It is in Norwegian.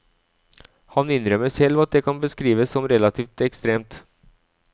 Han innrømmer selv at det kan beskrives som relativt ekstremt.